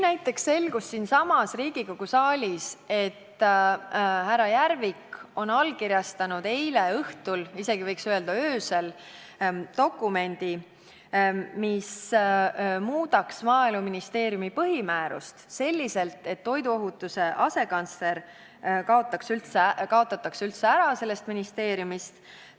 Näiteks selgus siinsamas Riigikogu saalis, et härra Järvik allkirjastas eile õhtul, isegi võiks öelda, et öösel, dokumendi, mis muudaks Maaeluministeeriumi põhimäärust selliselt, et toiduohutuse asekantsleri ametikoht kaotataks sellest ministeeriumist üldse ära.